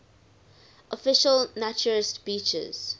official naturist beaches